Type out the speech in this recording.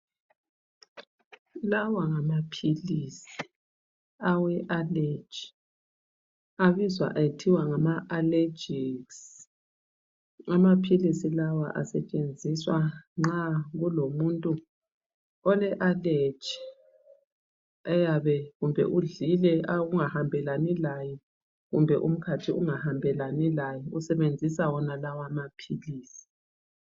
Lawa ngamaphilisi awe aleji abizwa ethiwa ngama allergex, amaphilisi lawa asetshenziswa nxa kulomuntu ole aleji oyabe kumbe udlile okungahambelani laye kumbe umkhathi ungahambelani laye usebenzisa wonalawa amaphilisi.